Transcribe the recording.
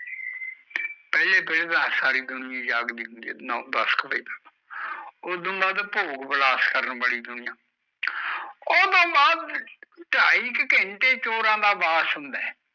ਪਹਲੇ ਪੈਰੇ ਦੁਨੀਆਂ ਜਾਗਦੀ ਹੁੰਦੀ ਨੋ ਦਸ ਕ ਬਜੇ ਤਕ ਉਤੋਂ ਬਾਅਦ ਭੋਗ ਵਿਲਾਸ ਕਰਨ ਬਾਲੀ ਦੁਇਆ ਉਤੋਂ ਬਾਦ ਢਾਈ ਕ ਘੰਟੇ ਚੋਰ ਦਾ ਵਾਸ ਹੁੰਦਾ ਏ